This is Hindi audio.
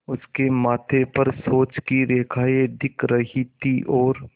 उसके माथे पर सोच की रेखाएँ दिख रही थीं और